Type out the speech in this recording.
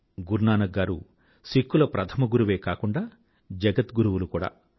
గురునానక్ గారు సిక్కుల ప్రధమ గురువే కాకుండా జగత్ గురువులు కూడా